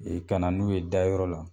E kana n'u ye dayɔrɔ la